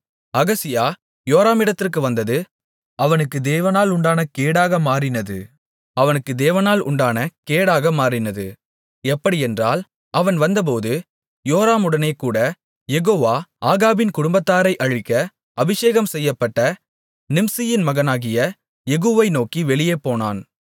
அகசியா யோராமிடத்திற்கு வந்தது அவனுக்கு தேவனால் உண்டான கேடாக மாறினது எப்படியென்றால் அவன் வந்தபோது யோராமுடனேகூட யெகோவா ஆகாபின் குடும்பத்தாரை அழிக்க அபிஷேகம்செய்யப்பட்ட நிம்சியின் மகனாகிய யெகூவை நோக்கி வெளியே போனான்